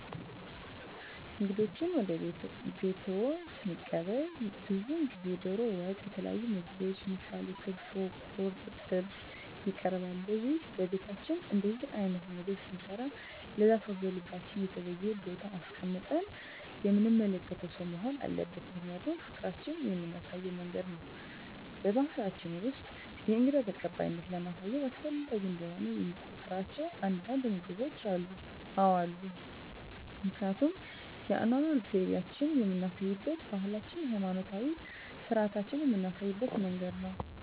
እንግዶችዎን ወደ ቤትዎ ስንቀበል ብዙውን ጊዜ ደሮ ወጥ የተለያዩ ምግቦች ምሳሌ ክትፎ ቁርጥ ጥብስ ይቀርባል ለዚህም በቤታችን እንደዚህ አይነት ምግብ ስንሰራ ለዛ ሰው በልባችን የተለየ ቦታ አስቀምጠን የምንመለከተው ሰው መሆን አለበት ምክንያቱም ፍቅራችን የምናሳይበት መንገድ ነው በባሕላችን ውስጥ የእንግዳ ተቀባይነትን ለማሳየት አስፈላጊ እንደሆነ የሚቆጥሯቸው አንዳንድ ምግቦች አሉ? አዎ አሉ ምክንያቱም የአኗኗር ዘይቤአችንን የምናሳይበት ባህላችንን ሀይማኖታዊ ስርአቶቻችንን ምናሳይበት መንገድ ነው